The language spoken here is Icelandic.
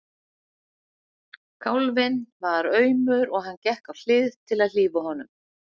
Kálfinn var aumur og hann gekk á hlið til að hlífa honum.